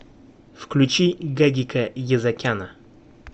включи гагика езакяна